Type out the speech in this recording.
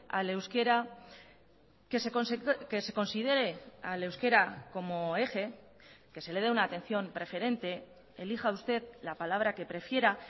al euskera que se considere al euskera como eje que se le dé una atención preferente elija usted la palabra que prefiera